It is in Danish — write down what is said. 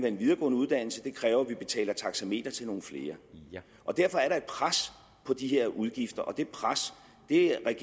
en videregående uddannelse og det kræver at vi betaler taxameter til nogle flere og derfor er der et pres på de her udgifter og det pres er